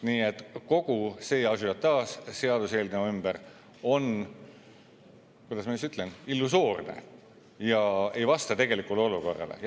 Nii et kogu see ažiotaaž seaduseelnõu ümber on, kuidas ma ütlen, illusoorne ja ei vasta tegelikule olukorrale.